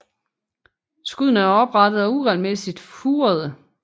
Skuddene er oprette og uregelmæssigt furede